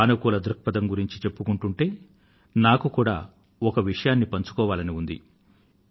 సానుకూల దృక్పథం గురించి చెప్పుకుంటూ ఉంటే నాకు కూడా ఒక విషయాన్ని పంచుకోవాలని ఉంది